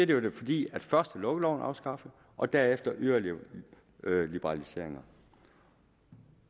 det jo fordi først blev lukkeloven afskaffet og derefter yderligere liberaliseringer